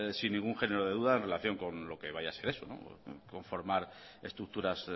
sin ningún género de dudas en relación con lo que vaya a ser eso conformar estructuras